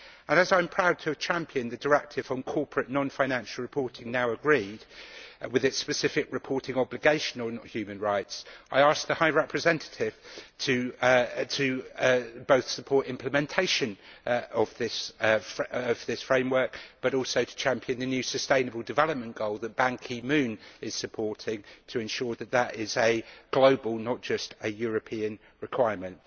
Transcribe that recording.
As I am proud to have championed the Directive on corporate non-financial reporting now agreed, with its specific reporting obligation on human rights, I ask the High Representative to both support implementation of this framework, but also to champion the new sustainable development goal that Ban Ki moon is supporting to ensure that that is a global, not just a European requirement.